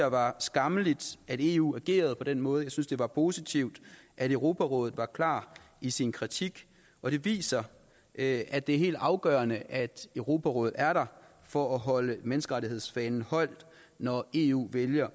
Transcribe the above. var skammeligt at eu agerede på den måde jeg synes det var positivt at europarådet var klar i sin kritik og det viser at at det er helt afgørende at europarådet er der for at holde menneskerettighedsfanen højt når eu vælger